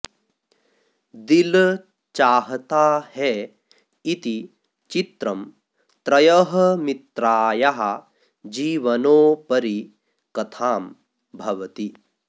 दिल् चाह्ता है इति चित्रं त्रयः मित्रायाः जीवनोपरि कथां भवति